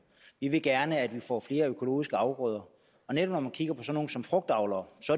vi vil gerne at vi får flere økologiske afgrøder netop frugtavlere